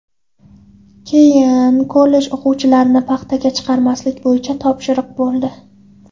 Keyin kollej o‘quvchilarini paxtaga chiqarmaslik bo‘yicha topshiriq bo‘ldi.